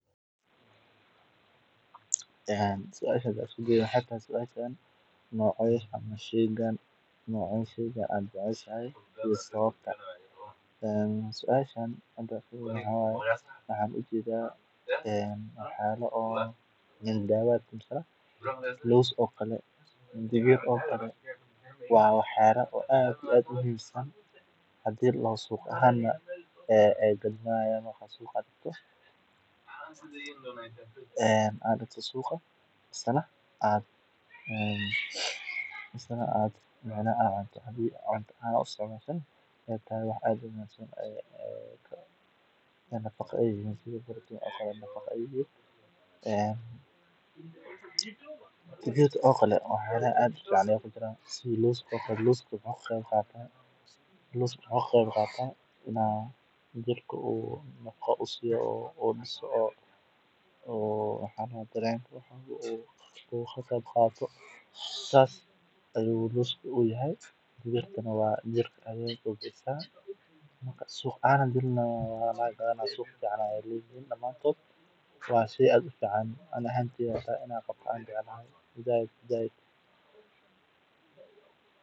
Waxan u jedaa alab badan oo dukanka lagu ibinayo cuntada kulul, iyo xusuus raaxo leh oo laga yaabo inay la xiriiraan waqtiyo farxad leh sida firaaqada asxaabta ama nasasho maalmeedka. Dareenkaasi waxa uu tusayaa sida maskaxdu uga falceliso cuntooyinka la jecel yahay, iyadoo ay suuragal tahay in xitaa jidhku bilaabo inuu dareemo gaajo ama afku bilaabo inuu dheecaamayo. Tani waa tusaale muuqda oo muujinaya sida xusuusta, dhadhanka, iyo dareenka ay isugu xiran yihiin, isla markaana cuntooyinka qaar ay awood ugu yeeshaan inay kiciso maskaxda iyo niyadda si lama filaan ah.